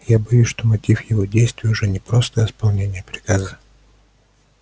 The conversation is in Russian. я боюсь что мотив его действий уже не просто исполнение приказа